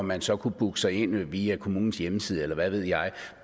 man så kunne booke sig ind via kommunens hjemmeside eller hvad ved jeg